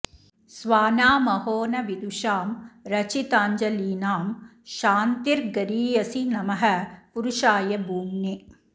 स्वानामहो न विदुषां रचिताञ्जलीनां क्षान्तिर्गरीयसि नमः पुरुषाय भूम्ने